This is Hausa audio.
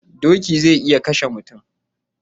Doki zai iya kashe mutum